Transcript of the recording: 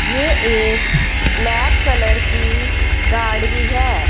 ये एक black colour की गाड़ी है।